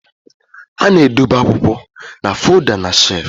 A na-edobe akwụkwọ na folda na shelf